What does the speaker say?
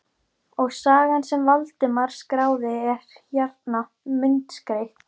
Og sagan sem Valdimar skráði er hérna, myndskreytt.